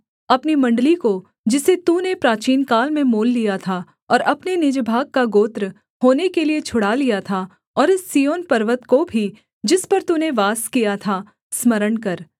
अपनी मण्डली को जिसे तूने प्राचीनकाल में मोल लिया था और अपने निज भाग का गोत्र होने के लिये छुड़ा लिया था और इस सिय्योन पर्वत को भी जिस पर तूने वास किया था स्मरण कर